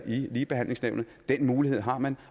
i ligebehandlingsnævnet den mulighed har man